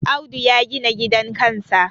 Audu ya gina gidan kansa